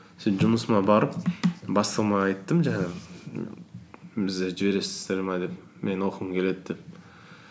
сөйтіп жұмысыма барып бастығыма айттым жаңағы бізді жібересіздер ме деп менің оқығым келеді деп